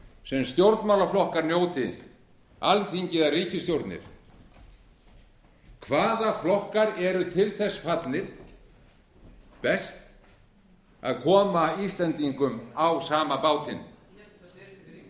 sem stjórnmálaflokkar njóti alþingi eða ríkisstjórnir hvaða flokkar eru til þess best fallnir að koma íslendingum á sama bátinn með betri ríkisstjórn